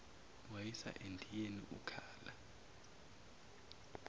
wayisa endiyeni ukhala